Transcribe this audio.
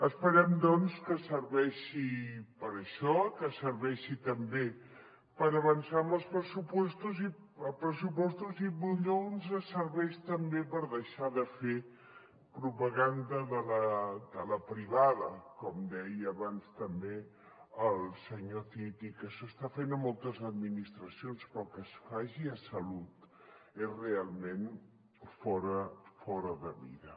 esperem doncs que serveixi per a això que serveixi també per avançar amb els pressupostos i potser ens serveix també per deixar de fer propaganda de la privada com deia abans també el senyor cid i que s’està fent a moltes administracions però que es faci a salut és realment fora de mida